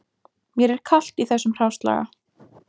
Mér er kalt í þessum hráslaga